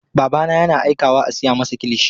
Babana yana aikawa a siya masa kilishi.